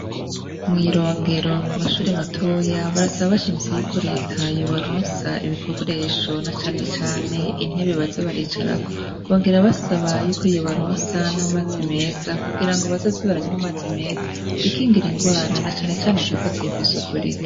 Mw'irongero ku mashure matoya barasaba bashimitse yuko reta yobaronsa ibikoresho, na cane cane intebe baza baricarako, bongera basaba yuko yobaronsa n'amazi meza kugirango bazoze baranwa amazi meza, bikingire ingwara, na cane cane izifatiye kw'isuku rike.